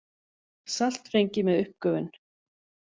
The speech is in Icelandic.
Salt fengið með uppgufun.